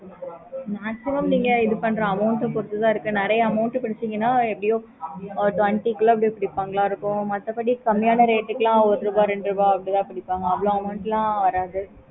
maximum நீங்க இது பண்ணுற பொறுத்து தான் இருக்கு